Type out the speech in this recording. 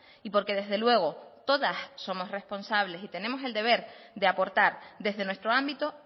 y porque desde luego todas somos responsable y tenemos el deber de aportar desde nuestro ámbito